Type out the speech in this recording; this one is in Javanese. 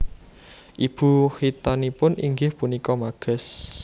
Ibu kithanipun inggih punika Magas